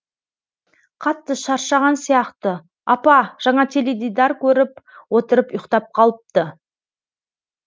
қатты шаршаған сияқты апа жаңа теледидар көріп отырып ұйықтап қалыпты